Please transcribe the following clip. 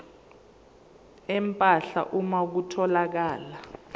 empahla uma kutholakala